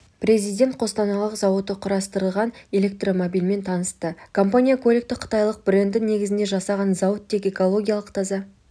президент қостанайлық зауыты құрастырған электромобильмен танысты компания көлікті қытайлық бренді негізінде жасаған зауыт тек экологиялық таза